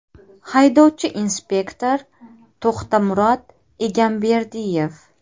Haydovchi-inspektor To‘xtamurod Egamberdiyev.